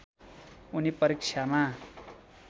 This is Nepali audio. उनी परीक्षामा